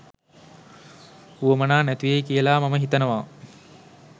උවමනා නැතිවෙයි කියලා මම හිතනවා.